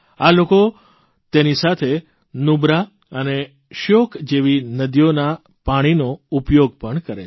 આ લોકો તેની સાથે નુબ્રા અને શ્યોક જેવી નદીઓના પાણીનો ઉપયોગ પણ કરે છે